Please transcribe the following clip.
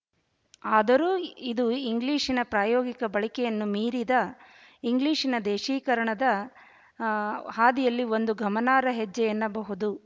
ಆದರೂ ಇದು ಇಂಗ್ಲಿಶಿನ ಪ್ರಾಯೋಗಿಕ ಬಳಕೆಯನ್ನೂ ಮೀರಿದ ಇಂಗ್ಲಿಶಿನ ದೇಶೀಕರಣದ ಆ ಹಾದಿಯಲ್ಲಿ ಒಂದು ಗಮನಾರ್ಹ ಹೆಜ್ಜೆ ಎನ್ನಬಹುದು